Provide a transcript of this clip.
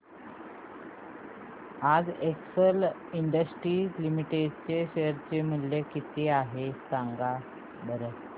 आज Excel Industries Limited चे share चे मूल्य किती आहे सांगा बरं